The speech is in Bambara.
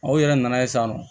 Aw yɛrɛ nana ye sisan nɔ